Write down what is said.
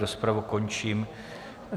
Rozpravu končím.